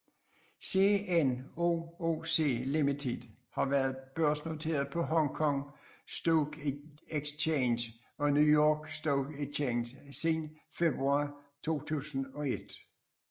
CNOOC Limited har været børsnoteret på Hong Kong Stock Exchange og New York Stock Exchange siden februar 2001